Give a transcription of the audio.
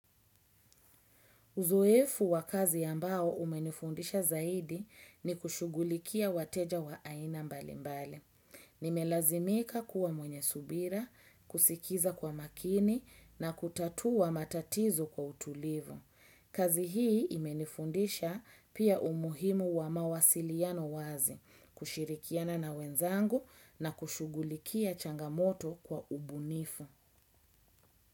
Uzoefu wa kazi ambao umenifundisha zaidi ni kushugulikia wateja wa aina mbali mbali. Nimelazimika kuwa mwenye subira, kusikiza kwa makini na kutatua matatizo kwa utulivu. Kazi hii imenifundisha pia umuhimu wa mawasiliano wazi kushirikiana na wenzangu na kushugulikia changamoto kwa ubunifu.